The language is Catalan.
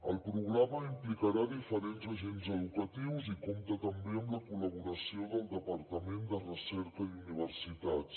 el programa implicarà diferents agents educatius i compta també amb la col·laboració del departament de recerca i universitats